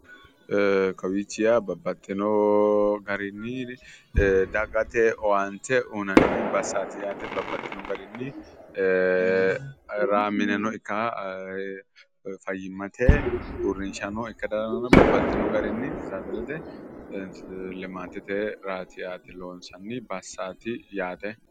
Kawichi yaa babbaxino garinni dagate owaante uyinnanni bassaati yaate babbaxino garinni mineno ikara fayimmate uurinshano ikara dandaano babbaxino garinni arsaderete limaatete loonsanni bassaati yaate.